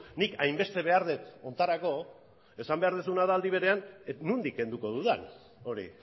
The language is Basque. nik hainbeste behar dut honetarako esan behar duzuna da aldi berean nondik kenduko dudan hori